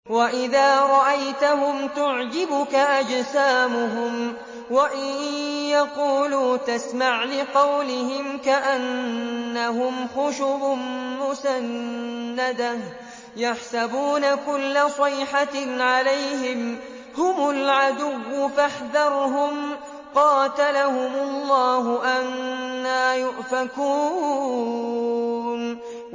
۞ وَإِذَا رَأَيْتَهُمْ تُعْجِبُكَ أَجْسَامُهُمْ ۖ وَإِن يَقُولُوا تَسْمَعْ لِقَوْلِهِمْ ۖ كَأَنَّهُمْ خُشُبٌ مُّسَنَّدَةٌ ۖ يَحْسَبُونَ كُلَّ صَيْحَةٍ عَلَيْهِمْ ۚ هُمُ الْعَدُوُّ فَاحْذَرْهُمْ ۚ قَاتَلَهُمُ اللَّهُ ۖ أَنَّىٰ يُؤْفَكُونَ